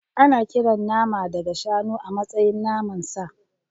Ana kiran nama daga shanu a matsayin naman sa.